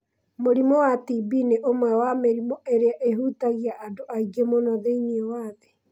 Mũrimũ wa TB nĩ ũmwe wa mĩrimũ ĩrĩa ĩhutagia andũ aingĩ mũno thĩinĩ wa thĩ.